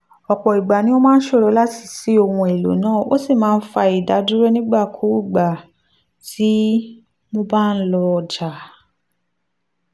ọ̀pọ̀ ìgbà ni ó máa ṣòro láti ṣí ohun èlò náà ó sì máa fa ìdádúró nígbàkigbà tí mo bá lọ ọjà.